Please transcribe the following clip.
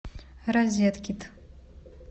розеткед